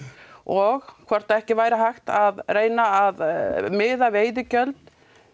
og hvort ekki væri hægt að að miða veiðigjöld